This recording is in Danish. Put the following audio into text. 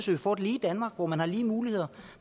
vi får et lige danmark hvor man har lige muligheder